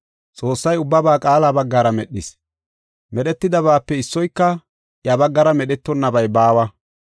Xoossay ubbaba Qaala baggara medhis. Medhetidabaape issoyka iya baggara medhetonabay baawa.